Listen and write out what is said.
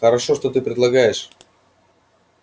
хорошо что ты предлагаешь